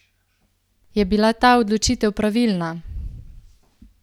Je bila ta odločitev pravilna?